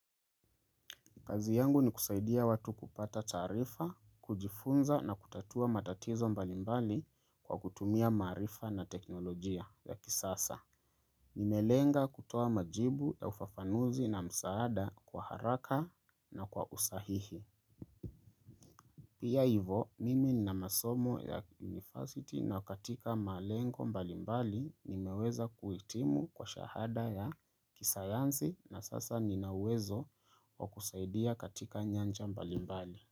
Kazi yangu ni kusaidia watu kupata taarifa, kujifunza na kutatua matatizo mbalimbali, kwa kutumia maarifa na teknolojia ya kisasa. Nimelenga kutoa majibu, ya ufafanuzi na msaada kwa haraka na kwa usahihi. Pia hivo, mimi na masomo ya university na katika malengo mbalimbali, nimeweza kuitimu kwa shahada ya, kisayansi na sasa nina uwezo wa kusaidia katika nyanja mbalimbali.